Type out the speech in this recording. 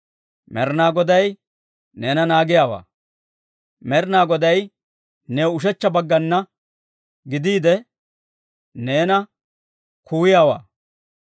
Med'inaa Goday neena naagiyaawaa. Med'inaa Goday new ushechcha baggana gidiide, neena kuwayiyaawaa.